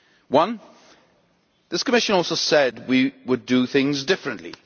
One this Commission also said we would do things differently.